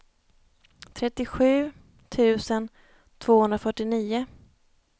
trettiosju tusen tvåhundrafyrtionio